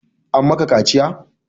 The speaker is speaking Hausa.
An maka kaciya?